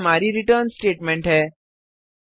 और यह हमारी रिटर्न स्टेटमेंट है